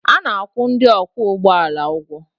A na-akwụ ndị ọkwọ ụgbọala ụgwọ